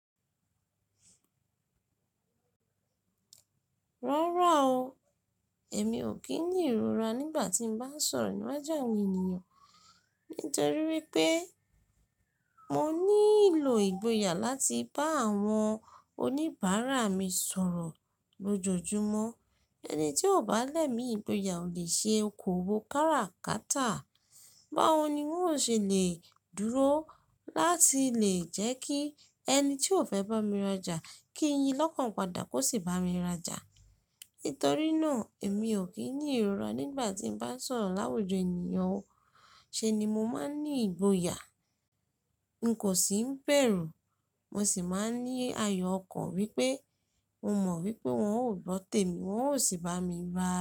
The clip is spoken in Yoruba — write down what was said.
Rárá o, èmi ò kí ní ìrora nígbà tí mo bá ń sọ̀rọ̀ níwájú àwọn ènìyàn. Nítorí wípé mo nílò ìgboyà láti bá àwọn oníbàárà mi sọ̀rọ̀ lójoojúmọ́. Ẹni tí ò bá lẹ̀ mí ìgboyà ò lè ṣe okòwò káràkátà. Báwo ni wọn ó ṣe lè dúró láti lè jẹ́ kí ẹni tí ó fẹ́ bá mi rajà kí yin lọ́kàn padà kó sì bá mi rajà? Nítorí náà èmi ò kí ní ìrora nígbà tí mo bá ń sọ̀rọ̀ láwùjọ ènìyàn o. Ṣẹ̀ ni mo máa ń ní ìgboyà. N kò sì ń bẹ̀rù. Mo sì máa ń ní ayọ̀ ọkàn wípé mo mọ̀ wípé wọn ò gbọ́tè mi, wọn ó sì bá mi bá.